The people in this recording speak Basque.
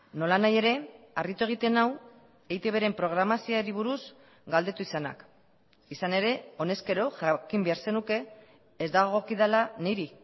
nolanahi ere harritu egiten nau eitbren programazioari buruz galdetu izanak izan ere honezkero jakin behar zenuke ez dagokidala niri